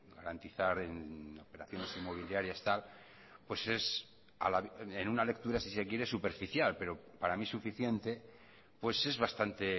garantizar en operaciones inmobiliarias tal pues es en una lectura si se quiere superficial pero para mí suficiente pues es bastante